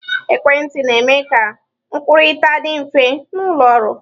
Ekwentị na-eme ka nkwukọrịta dị mfe n'ụlọ ọrụ.